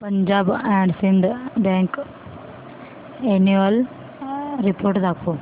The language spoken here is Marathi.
Punjab and Sind bank annual report दाखव